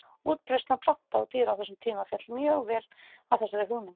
Útbreiðsla plantna og dýra á þessum tíma féll mjög vel að þessari hugmynd.